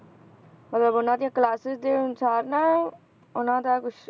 ਮਤਲਬ ਉਹਨਾਂ ਦੀ classes ਦੇ ਅਨੁਸਾਰ ਨਾ ਉਹਨਾਂ ਦਾ ਕੁਛ